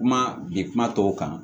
Kuma bi kuma tɔw kan